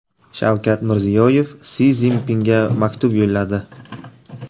Shavkat Mirziyoyev Si Szinpinga maktub yo‘lladi.